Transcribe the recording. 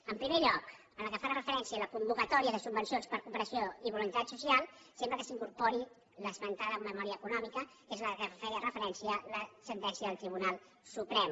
en primer lloc pel que fa referència a la convocatòria de subvencions per a cooperació i voluntariat social sempre que s’incor·pori l’esmentada memòria econòmica que és a la qual feia referència la sentència del tribunal suprem